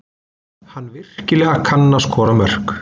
Hann virkilega kann að skora mörk.